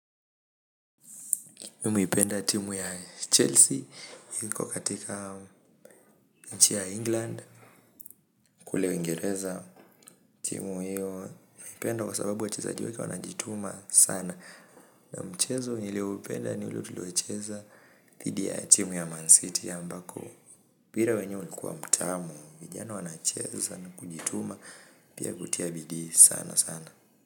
Mimi huipenda timu ya Chelsea iko katika nchi ya England. Kule uiengereza timu hiyo huipenda kwa sababu wa chezaji wenyewe wanajituma sana na mchezo nilioupenda ni tuliocheza thidi ya timu ya Man City ambako mpira wenyewe ulikuwa mtamu, vijana wanacheza na kujituma pia kutia bidii sana sana.